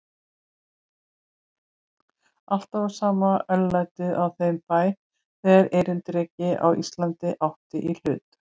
Alltaf var sama örlætið á þeim bæ, þegar erindrekinn á Íslandi átti í hlut.